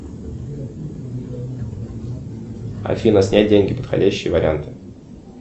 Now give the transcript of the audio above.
афина снять деньги подходящие варианты